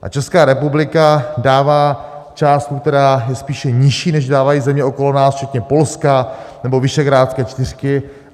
A Česká republika dává částku, která je spíše nižší, než dávají země okolo nás, včetně Polska nebo Visegrádské čtyřky.